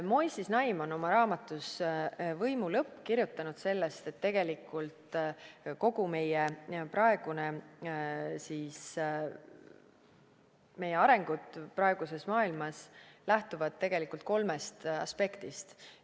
Moisés Naim on oma raamatus "Võimu lõpp" kirjutanud sellest, et meie arengud praeguses maailmas lähtuvad tegelikult kolmest aspektist.